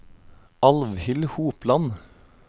Alvhild Hopland